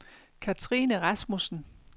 Katrine Rasmussen